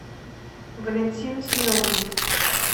валентина семеновна